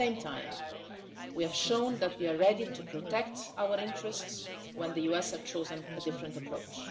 At the same time, we have shown that we are ready to protect our interests when the USA has chosen a different approach.